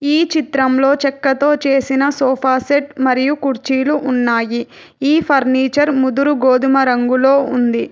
ఈ చిత్రంలో చెక్కతో చేసిన సోఫా సెట్ మరియు కుర్చీలు ఉన్నాయి. ఈ ఫర్నీచర్ ముదురు గోధుమ రంగులో ఉంది.